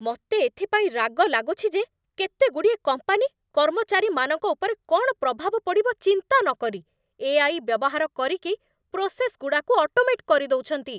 ମତେ ଏଥିପାଇଁ ରାଗ ଲାଗୁଛି ଯେ କେତେଗୁଡ଼ିଏ କମ୍ପାନୀ କର୍ମଚାରୀମାନଙ୍କ ଉପରେ କ'ଣ ପ୍ରଭାବ ପଡ଼ିବ ଚିନ୍ତା ନକରି, ଏ.ଆଇ. ବ୍ୟବହାର କରିକି, ପ୍ରୋସେସ୍‌ଗୁଡ଼ାକୁ ଅଟୋମେଟ୍ କରିଦେଉଛନ୍ତି ।